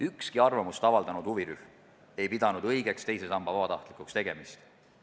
Ükski arvamust avaldanud huvirühm ei pidanud õigeks teise samba vabatahtlikuks tegemist.